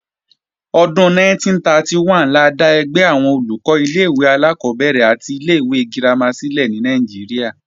Ọdún 1931 la dá ẹgbẹ́ àwọn Olùkọ́ ilé-ìwé alákọ́bẹ̀rẹ̀ àti ilé-ìwé girama sílẹ̀ ní Nàìjíríà